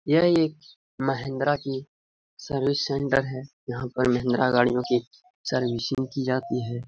यह एक महिंद्रा की सर्विस सेंटर है यहाँ पे महिंद्रा गाड़ियों की सर्विसिंग की जाती है।